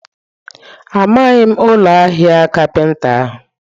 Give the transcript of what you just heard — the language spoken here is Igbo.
Amaghị m ụlọ ahịa kapinta ahụ.